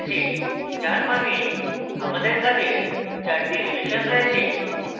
যার means আমাদের কাজের চারটি রিভিশন রয়েছে